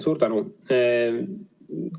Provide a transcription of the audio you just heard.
Suur tänu!